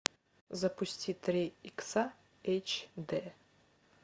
запусти три икса эйч дэ